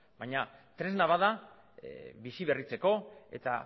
baina tresna bat da biziberritzeko eta